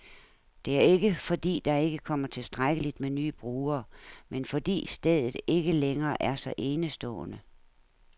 Det er ikke, fordi der ikke kommer tilstrækkeligt med nye brugere, men fordi stedet ikke længere er så enestående.